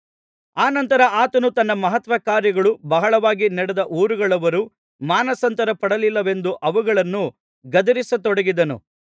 ಅನಂತರ ಆತನು ತನ್ನ ಮಹತ್ಕಾರ್ಯಗಳು ಬಹಳವಾಗಿ ನಡೆದ ಊರುಗಳವರು ಮಾನಸಾಂತರಪಡಲಿಲ್ಲವೆಂದು ಅವುಗಳನ್ನು ಗದರಿಸತೊಡಗಿದನು